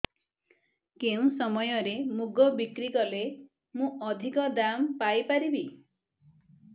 କେଉଁ ସମୟରେ ମୁଗ ବିକ୍ରି କଲେ ମୁଁ ଅଧିକ ଦାମ୍ ପାଇ ପାରିବି